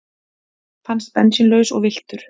Fannst bensínlaus og villtur